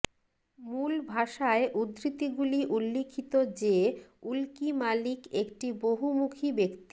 মূল ভাষায় উদ্ধৃতিগুলি উল্লিখিত যে উলকি মালিক একটি বহুমুখী ব্যক্তি